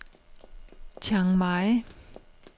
Chaing Mai